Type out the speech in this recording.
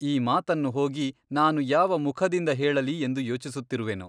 ಈ ಮಾತನ್ನು ಹೋಗಿ ನಾನು ಯಾವ ಮುಖದಿಂದ ಹೇಳಲಿ ಎಂದು ಯೋಚಿಸುತ್ತಿರುವೆನು.